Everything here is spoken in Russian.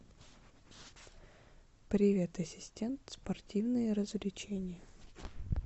привет ассистент спортивные развлечения